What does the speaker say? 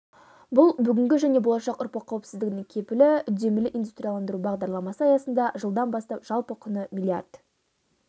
бұл бүгінгі және болашақ ұрпақ қауіпсіздігінің кепілі үдемелі индустрияландыру бағдарламасы аясында жылдан бастап жалпы құны млрд